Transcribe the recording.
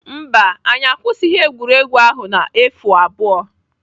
Mba, anyị akwụsịghị egwuregwu ahụ na efu abụọ.